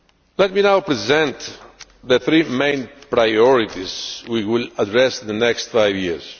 Let me now present the three main priorities we will address in the next five years.